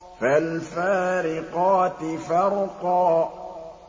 فَالْفَارِقَاتِ فَرْقًا